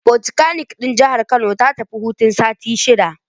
Fokitakanik ɗin Jihar Kano ta tafi hutun sati shida